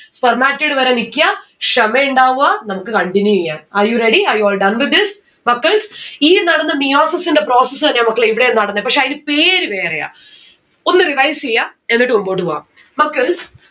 spermatid വരെ നിക്ക്യ, ക്ഷമയുണ്ടാവുക നമ്മുക്ക് continue എയ്യാം. are you ready? are you all done with this? മക്കൾസ് ഈ നടന്ന meiosis ന്റെ process എന്നെയാ മക്കളെ ഇവിടെയും നടന്നേ പക്ഷെ അയിന് പേര് വേറെയാ. ഒന്ന് revise എയ്യ എന്നിട്ട് മുമ്പോട്ട് പോവാ. മക്കൾസ്